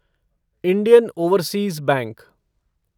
Indian overseas bank